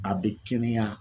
A bɛ kɛnɛya